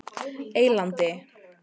Eylandi